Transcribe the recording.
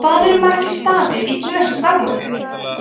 hvað eru margir stafir í kínverska stafrófinu